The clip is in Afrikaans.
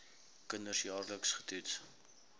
kinders jaarliks getoets